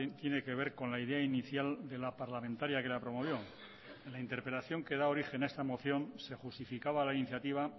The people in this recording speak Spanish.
tiene que ver con la idea inicial de la parlamentaria que la promovió en la interpelación que da origen a esta moción se justificaba la iniciativa